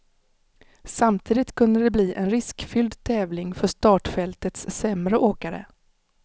Samtidigt kunde det bli en riskfylld tävling för startfältets sämre åkare.